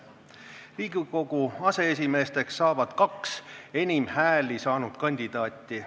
Riigikogu aseesimeesteks saavad kaks enim hääli saanud kandidaati.